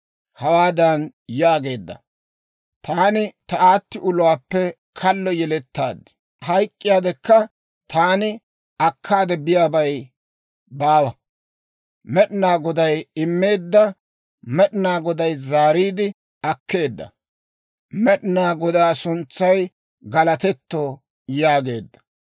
hawaadan yaageedda; «Taani ta aatti uluwaappe kallo yelettaad; hayk'k'iyaa wodekka taani akkaade biyaabay baawa. Med'inaa Goday immeedda; Med'inaa Goday zaariide akkeedda. Med'inaa Godaa suntsay galatetto» yaageedda.